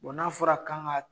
Bɔn n'a fɔra k'an ka